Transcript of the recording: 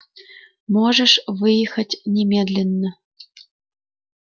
можешь выехать немедленно